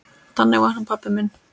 Þannig var hann pabbi minn.